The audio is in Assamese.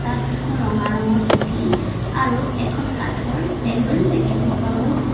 ইয়াত দুখন ৰঙা ৰঙৰ চকী আৰু এখন কাঠৰ টেবুল দেখিব পোৱা গৈছে।